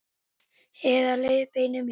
Eða leiðbeinir mér.